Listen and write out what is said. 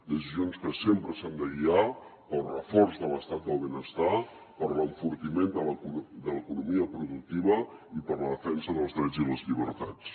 decisions que sempre s’han de guiar pel reforç de l’estat del benestar per l’enfortiment de l’economia productiva i per la defensa dels drets i les llibertats